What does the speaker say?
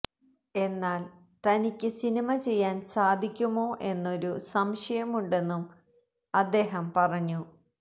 എന്നാൽ തനിയ്ക്ക് സിനിമ ചെയ്യാൻ സാധിക്കുമോ എന്നൊരു സംശയമുണ്ടെന്നും അദ്ദേഹം പറഞ്ഞു